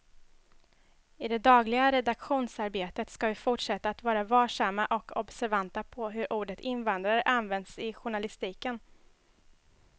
I det dagliga redaktionsarbetet ska vi fortsätta att vara varsamma och observanta på hur ordet invandrare används i journalistiken.